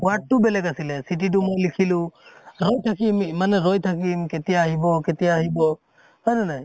সোৱাদ টো বেলেগ আছিলে, চিঠিতো মই লিখিলো, ৰৈ থাকিম ইমানে ৰৈ থাকিম কেতিয়া আহিব কেতিয়া আহিব হয় নে নাই?